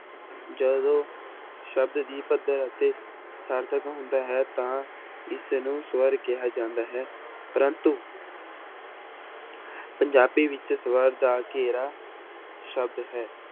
ਜਦੋਂ ਸ਼ਬਦ ਦੀ ਪੱਧਰ ਅਤੇ ਸਾਰਥਕ ਹੁੰਦਾ ਹੈ ਤਾਂ ਇਸਨੂੰ ਸਵਰ ਕਿਹਾ ਜਾਂਦਾ ਹੈ ਪ੍ਰੰਤੂ ਪੰਜਾਬੀ ਵਿੱਚ ਸਵਰ ਦਾ ਘੇਰਾ ਸ਼ਬਦ ਹੈ।